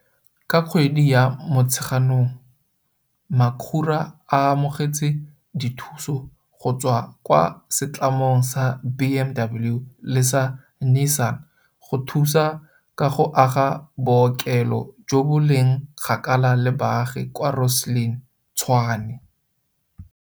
Ka kgwedi ya Motsheganong, Makhura o amogetse dithuso go tswa kwa setlamong sa BMW le sa Nissan go thusa ka go aga bookelo jo bo leng kgakala le baagi kwa Rosslyn, Tshwane.